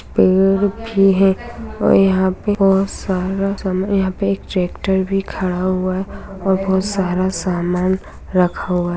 पड़े भी है और यहाँ पे बहुत सारा सा यहाँ पर एक ट्रैक्टर भी खड़ा हुआ है और बहुत सारा सामान रखा हुआ है।